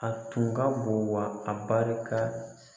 A tun ka bon wa a barika